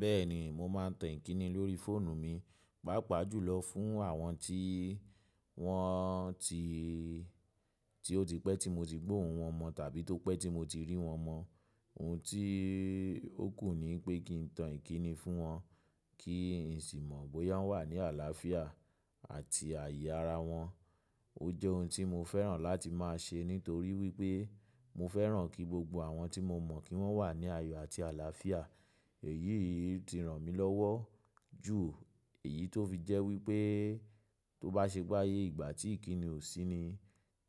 Bẹ́ẹ̀ni, mo máa ń tàn ìkíni lórí fóònù mi, pàápàá jùlọ fún àwọn tí wọ́n ti, tí ó ti pẹ́ tí mo ti gbóhun wọn mọ̀ tàbí tó pẹ́ tí mo ti rí wọ́n mọ́. Ohun tí ó kù ní pé kí ń tàn ìkíni fún wọn, kí n sì mọ̀ bóyá wọ́n wà ní àlàáfíà àti àyè ara wọn. Ó jẹ́ ohun tí mo fẹ́ràn láti máa ṣe nítorí wí pé mo fẹ́ràn kí gbogbo àwọn tí mo mọ̀ kí wọ́n wà ní ayọ̀ àti àlàáfíà. Èyí ti ran mi lọ́wọ́ jù, èyí tó fi jẹ́ wípé tọ́ bá ṣe pé ayé ìgbà tí ìkíni ò sí ni,